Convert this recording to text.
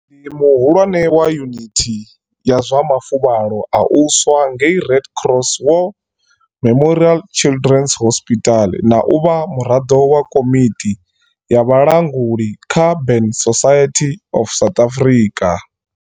Ndi muhulwane wa yunithi ya zwa mafuvhalo a u swa ngei Red Cross War Memorial Childrens Hospital na u vha muraḽo wa komiti ya vhulanguli kha Burn Society of South Africa.